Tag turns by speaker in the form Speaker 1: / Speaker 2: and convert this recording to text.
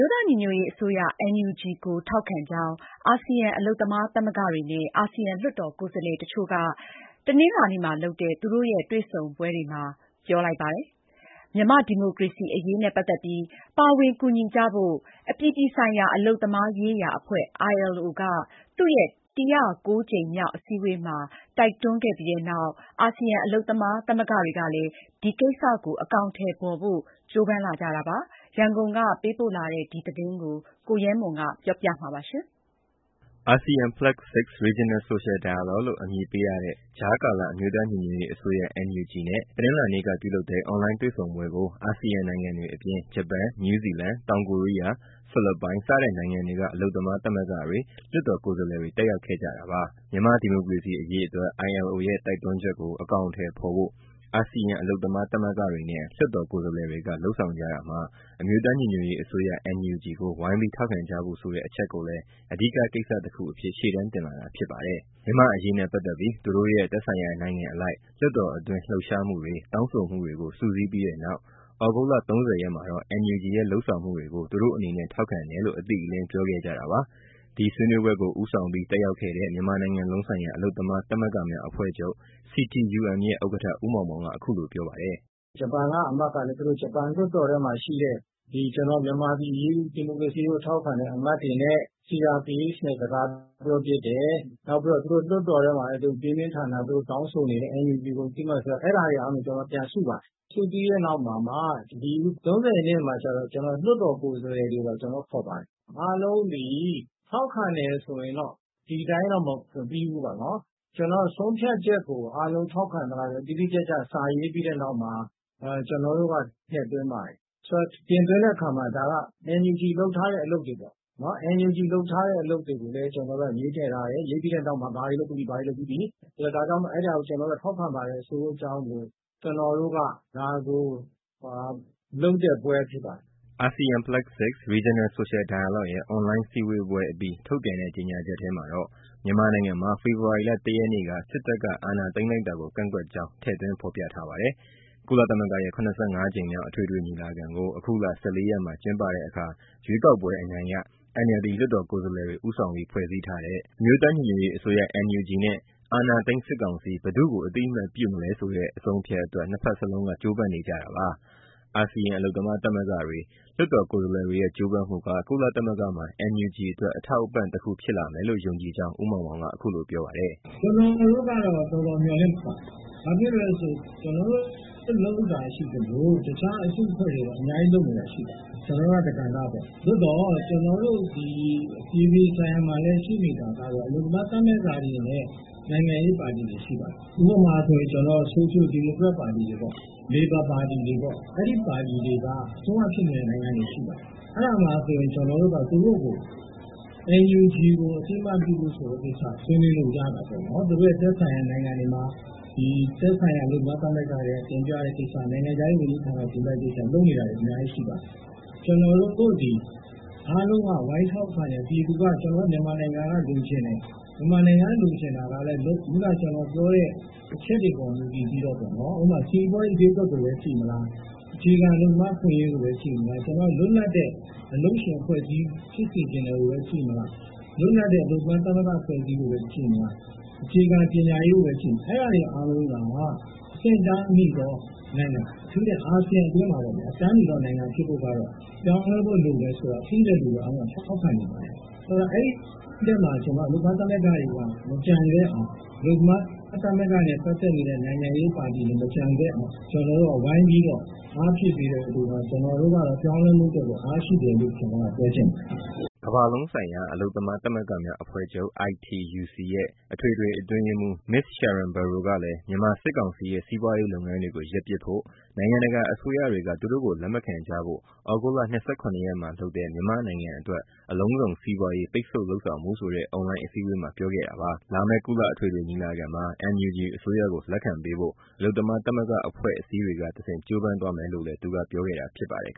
Speaker 1: ိုးသားညီညွတ်ရေးအစိုးရ NUG ကိုထောက်ခံကြောင်း အာစီယံ အလုပ်သမားသမဂ္ဂတွေနဲ့ အာစီယံ လွှတ်တော်ကိုယ်စားလှယ်တချို့က တနင်္လာနေ့မှာလုပ်တဲ့ အွန်လိုင်းစည်းဝေးပွဲအတွင်း ပြောကြားလိုက်ပါတယ်။ မြန်မာ့ဒီမိုကရေစီအရေးနဲ့ပတ်သက်ပြီး ပါဝင်ကူညီကြဖို့ အပြည်ပြည်ဆိုင်ရာ အလုပ်သမားရေးရာအဖွဲ့ ILO က သူ့ရဲ့ ၁၀၉ ကြိမ်မြောက်အစည်းအဝေးမှာ တိုက်တွန်းခဲ့ပြီးတဲ့နောက် အာစီယံ အလုပ်သမားသဂ္ဂတွေကလည်း ဒီကိစ္စကို အကောင်အထည်ဖော်ဖို့ ကြိုးပမ်းလာကြတာပါ။ ရန်ကုန်ကပေးပို့တဲ့ ဒီသတင်းကိုတော့ ကိုရဲမွန် က ပြောပြပေးမှာပါ။
Speaker 2: ASEAN +6 Regional Social Dialogue လို့ နာမည်ပေးထားတဲ့ ကြားကာလ အမျိုးသားညီညွတ်ရေးအစိုးရ NUG နဲ့ တနင်္လာနေ့က ပြုလုပ်လတဲ့ အွန်လိုင်းတွေ့ဆုံပွဲကို အာစီယံနိုင်ငံတွေအပြင် ဂျပန်၊ နယူးဇီလန်၊ တောင်ကိုရီးယား၊ ဖိလစ်ပိုင် စတဲ့နိုင်ငံတွေက အလုပ်သမားသမဂ္ဂတွေ၊ လွှတ်တော်ကိုယ်စားလှယ်တွေ တက်ရောက်ခဲ့ကြတာပါ။ မြန်မာ့ဒီမိုကရေစီအရေးတွက် ILO ရဲ့ တိုက်တွန်းချက်ကို အကောင်အထည်ဖော်ဖို့ အာစီယံ အလုပ်သမားသမဂ္ဂတွေနဲ့ လွှတ်တော် ကိုယ်စားလှယ်တွေက လုပ်ဆောင်ကြတာမှာ အမျိုးသားညီညွတ်ရေးအစိုးရ NUG ကို ဝိုင်းပြီးထောက်ခံကြဖို့ဆိုတဲ့ အချက်ကိုလည်း အဓိကကိစ္စတခုအဖြစ် ရှေ့တန်းတင်လာတာ ဖြစ်ပါတယ်။ မြန်မာ့အရေးနဲ့ပတ်သက်ပြီး သူတို့ရဲ့ သက်ဆိုင်ရာနိုင်ငံအလိုက် လွှတ်တော်အတွင်း လှုပ်ရှားမှုတွေ၊ တောင်းဆိုမှုတွေကို စုစည်းပြီးတဲ့နောက် ဩဂုတ်လ ၃၀ ရက်မှာတော့ NUG ရဲ့လုပ်ဆောင်မှုတွေကို သူတို့အနေနဲ့ ထောက်ခံတယ်လို့ အတိအလင်း ပြောခဲ့ကြတာပါ။ ဒီဆွေးနွေးပွဲကို ဦးဆောင်ပြီး တက်ရောက်ခဲ့တဲ့ မြန်မာနိုင်ငံလုံးဆိုင်ရာ အလုပ်သမားသမဂ္ဂများအဖွဲ့ချုပ် CTUM ရဲ့ ဥက္ကဋ္ဌ ဦးမောင်မောင်က အခုလိုပြောပါတ
Speaker 3: ယ်။ “ ဂျပန်က လွှတ်တော်အမတ်ကလည်း သူတို့လွှတ်တော်ထဲမှာရှိတဲ့ မြန်မာ့ ဒီမိုကရေစီအရေးကို ထောက်ခံတဲ့ အမတ်တွေနဲ့ CRPH နဲ့ စကားပြောဖြစ်တယ်။ ပြီးတော့ သူတို့လွှတ်တော်ထဲမှာလည်း ပြင်းပြင်းထန်ထန် သူတို့တောင်းဆိုနေတယ် NUG ကိုအသိအမှတ်ပြုဖို့၊ အဲဒါတွေကို ကျနော်တို့က ပြန်စုပါတယ်။ စုပြီးတဲ့နောက် အခု ၃၀ ရက်နေ့မှာကျတော့ လွှတ်တော်ကိုယ်စားလှယ်တွေပါ ကျနော်တို့ခေါ်ပါတယ်။ အားလုံးသည် ထောက်ခံတယ်ဆိုရင် ဒီအတိုင်းတော့ မပြီးဘူးပေါ့နော်၊ ဆုံးဖြတ်ချက်ကို အားလုံး ထောက်ခံသလားဆိုတာ တိတိကျကျ စာရေးပြီးတဲ့နောက်မှာ ကျနော်တို့က ထည့်သွင်းပါတယ်။ ဆိုတော့ တင်သွင်းတဲ့အခါမှာ NUG လုပ်ထားတဲ့ အလုပ်တွေပေါ့နော် ကျနော်တို့က ရေးထည့်ထားတယ်၊ ရေးပြီးတဲ့နောက်မှာ ဘာတွေလုပ်ပြီးပြီ၊ ဘာတွေလုပ်ပြီးပြီ ဒါကြောင့်မို့ အဲဒါကို ထောက်ခံပါတယ် ဆိုတဲ့အကြောင်းကို ကျနော်တို့က လုပ်တဲ့ပွဲဖြစ်ပါတယ်။
Speaker 2: ” ASEAN +6 Regional Social Dialogue ရဲ့ အွန်လိုင်းစည်းဝေးပွဲအပြီး ထုတ်ပြန်တဲ့ ကြေညာချက်ထဲမှာတော့ မြန်မာနိုင်ငံမှာ ဖေဖော်ဝါရီလ ၁ ရက်နေ့က စစ်တပ်က အာဏာသိမ်းလိုက်တာကို ကန့်ကွက်ကြောင်း ထည့်သွင်း ဖော်ပြထားပါတယ်။ ကုလသမဂ္ဂရဲ့ ၇၅ ကြိမ်မြောက် အထွေထွေညီလာခံကို အခုလ ၁၄ ရက်မှာ ကျင်းပတဲ့အခါ ရွေးကောက်ပွဲအနိုင်ရ NLD လွှတ်တော်ကိုယ်စားလှယ်တွေ ဦးဆောင်ပြီး ဖွဲ့စည်းထားတဲ့ အမျိုးသားညီညွတ်ရေးအစိုးရ NUG နဲ့ အာဏာသိမ်း စစ်ကောင်စီ ဘယ်သူ့ကို အသိအမှတ် ပြုမလဲဆိုတဲ့ အဆုံးအဖြတ်အတွက် နှစ်ဖက်လုံးက ကြိုးပမ်းနေကြတာပါ။ အာစီယံ အလုပ်သမားသမဂ္ဂတွေ၊ လွှတ်တော်ကိုယ်စားလှယ်တွေရဲ့ ကြိုးပမ်းမှုက ကုလသမဂ္ဂမှာ NUG အတွက် အထောက်အပံ့တခု ဖြစ်လာမယ်လို့ ယုံကြည်ကြောင်း ဦးမောင်မောင်က ပြော
Speaker 3: ပါတယ်။ “ ကျနော်တို့ကတော့တော်တော် မျှော်လင့်ပါတယ်။ ကျနော်တို့လုပ်တာရှိသလို တခြားအစုအဖွဲ့တွေလည်း လုပ်တာရှိပါတယ်။ ကျနော်တို့က တကဏ္ဍပေါ့။ အပြည်ပြည်ဆိုင်ရာမှာလည်း အလုပ်သမား သမဂ္ဂတွေနဲ့ နိုင်ငံရေးပါတီတွေ ရှိပါတယ်။ ဥပမာ ဆိုရှယ်ဒီမိုကရက်ပါတီတွေ၊ လေဘာပါတီတွေ အဲဒီပါတီတွေက အစိုးရဖြစ်နေတဲ့ နိုင်ငံတွေ ရှိပါတယ်။ ကျနော်တို့က သူတို့ကို NUG ကို အသိအမှတ်ပြုဖို့ဆိုတဲ့ကိစ္စ ဆွေးနွေးလို့ရတာပေါ့၊ သူတို့ရဲ့ သက်ဆိုင်ရာ နိုင်ငံတွေမှာ သက်ဆိုင်ရာ အလုပ်သမားသမဂ္ဂတွေ တင်ပြတဲ့ကိစ္စ၊ အလုပ်သမား ဝန်ကြီးဌာနကို တင်ပြတဲ့ကိစ္စ လုပ်နေတာတွေ အများကြီရှိပါတယ်။ ကျနော်တို့သည် အားလုံးက ဝိုင်းထောက်ခံတာ မြန်မာနိုင်ငံက လိုချင်တယ်၊ ခုနက ကျနော်ပြောတဲ့ အချက်တွေပေါ် မူတည်ပြီးတော့ ဥပမာ စီပွားရေးဈေးကွက်ကိုပဲ ကြည့်မလား၊ အခြေခံအလုပ်သမား အခွင့်အရေးကိုပဲ ကြည့်မလား၊ လွတ်လပ်တဲ့ အလုပ်ရှင်၊ အလုပ်သမား သမဂ္ဂအဖွဲ့အစည်းကိုပဲ ကြည့်မလား၊ အခြေခံပညာရေးကိုပဲ ကြည့်မလား အဲဒါတွေအားလုံးက အဆင့်အတန်းမီသောနိုင်ငံ အထူးသဖြင့် အာစီယံအတွင်းမှာ အဆင့်အတန်းမီသော နိုင်ငံဖြစ်ဖို့က ပြောင်းလဲဖို့လိုတယ်ဆိုတာ သိတဲ့လူအားလုံးက ထောက်ခံမှာပဲ။ အဲဒီမှာ ကျနော်က အလုပ်သမား သမဂ္ဂတွေပါ မကျန်ခဲ့အောင်၊ အလုပ်သမားသမဂ္ဂတွေနဲ့ ပတ်သက်တဲ့ နိုင်ငံရေးပါတီတွေ မကျန်ခဲ့အောင် ဝိုင်းပြီးအားဖြည့်ပေးတော့ ပြောင်းလဲမှုအတွက် အားဖြစ်တယ်လို့ ပြောချင်ပါတယ်။”
Speaker 2: ကမ္ဘာလုံးဆိုင်ရာ အလုပ်သမား သမဂ္ဂများအဖွဲ့ချုပ် ITUC အထွေထွေအတွင်းရေးမှူး Ms. Sharan Burrow ကလည်း မြန်မာစစ်ကောင်စီရဲ့ စီးပွားရေးလုပ်ငန်းတွေကို ရပ်ပစ်ဖို့၊ နိုင်ငံတကာအစိုးရတွေက သူတို့ကို လက်မခံကြဖို့ ဩဂုတ်လ ၂၇ ရက်မှာလုပ်တဲ့ မြန်မာ့နိုင်ငံအတွက် အလုံးစုံစီးပွားရေး ပိတ်ဆို့လုပ်ဆောင်မှုဆိုတဲ့ အွန်လိုင်းအစည်းအဝေးမှာ ပြောခဲ့တာပါ။ လာမယ့်ကုလ အထွေထွေညီလာခံမှာ NUG အစိုးရကို လက်ခံပေးဖို့ အလုပ်သမား သမဂ္ဂအဖွဲ့အစည်းတွေကဆင့် ကြိုးပမ်းသွားမယ်လို့လည်း သူကပြောခဲ့တာ ဖြစ်ပါတယ်